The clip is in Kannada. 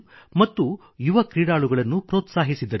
ಮತ್ತು ಯುವ ಕ್ರೀಡಾಳುಗಳನ್ನು ಪ್ರೋತ್ಸಾಹಿಸಿದರು